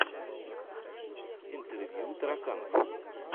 интервью тараканов